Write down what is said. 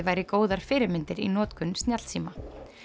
væri góðar fyrirmyndir í notkun snjallsíma